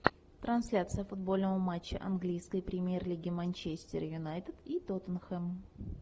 трансляция футбольного матча английской премьер лиги манчестер юнайтед и тоттенхэм